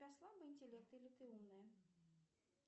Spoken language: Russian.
у тебя слабый интеллект или ты умная